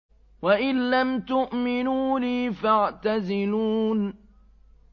وَإِن لَّمْ تُؤْمِنُوا لِي فَاعْتَزِلُونِ